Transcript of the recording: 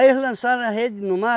eles lançaram a rede no mar.